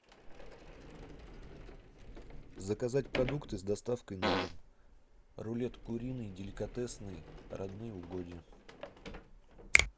заказать продукты с доставкой на дом рулет куриный деликатесный родные угодья